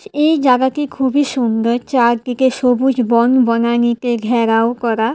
এই জাগাটি খুবই সুন্দর চারদিকে সবুজ বন বনানীতে ঘেরাও করা।